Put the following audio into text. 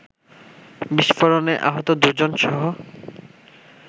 বিস্ফোরণে আহত দু’জনসহ